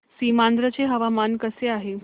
सीमांध्र चे हवामान कसे आहे